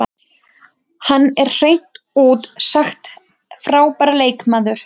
Hann er hreint út sagt frábær leikmaður.